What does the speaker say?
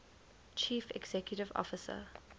chief executive officer